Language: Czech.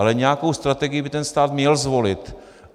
Ale nějakou strategii by ten stát měl zvolit.